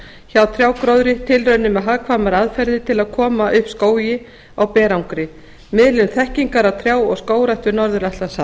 hjá trjágróðri tilraunir með hagkvæmar aðferðir til að koma upp skógi á berangri miðlun þekkingar á trjá og skógrækt við norður atlantshaf